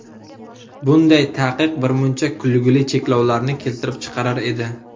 Bunday taqiq birmuncha kulgili cheklovlarni keltirib chiqarar edi.